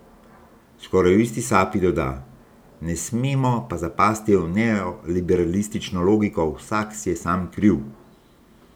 Skoraj v isti sapi doda: 'Ne smemo pa zapasti v neoliberalistično logiko vsak si je sam kriv.